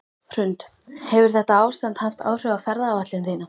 Hrund: Hefur þetta ástand haft áhrif á ferðaáætlun þína?